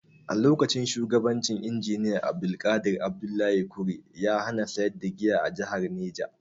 A lokacin shugabancin Injiniya Abdulqadir Abdullahi Kure, ya hana sayar da giya a jahar Neja.